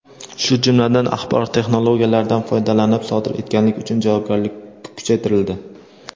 shu jumladan axborot texnologiyalaridan foydalanib sodir etganlik uchun javobgarlik kuchaytirildi.